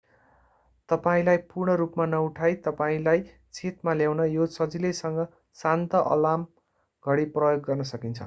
तपाईंलाई पूर्ण रूपमा नउठाइ तपाईंलाई चेतमा ल्याउन यो सजिलैसँग शान्त अलार्म घडी प्रयोग गर्न सकिन्छ